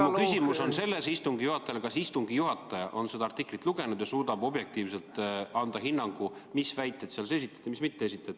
Mu küsimus istungi juhatajale on järgmine: kas istungi juhataja on seda artiklit lugenud ja suudab objektiivselt anda hinnangu, mis väiteid seal esitati ja mis väiteid ei esitatud?